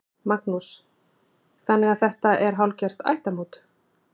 Magnús: Þannig að þetta er hálfgert ættarmót?